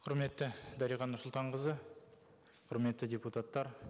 құрметті дариға нұрсұлтанқызы құрметті депутаттар